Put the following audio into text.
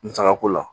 Musakako la